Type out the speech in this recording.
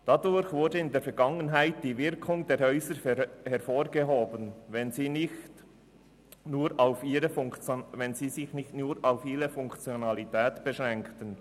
Dadurch wurde in der Vergangenheit die Wirkung der Häuser hervorgehoben, wenn sie sich nicht nur auf ihre Funktionalität beschränkten.